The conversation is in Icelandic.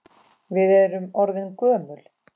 Við erum orðin gömul.